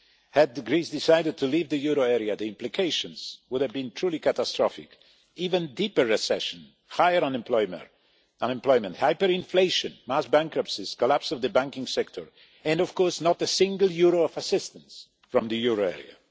Had Greece decided to leave the euro area, the implications would have been truly catastrophic even deeper recession, higher unemployment, hyperinflation, mass bankruptcies, the collapse of the banking sector and, of course, not a single euro of assistance from the euro area.